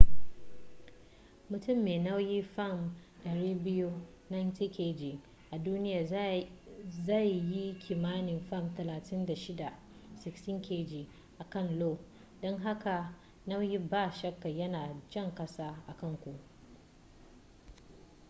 mutum mai nauyin fam 200 90kg a duniya zai yi kimanin fam 36 16kg a kan io. don haka nauyi ba shakka yana jan ƙasa akan ku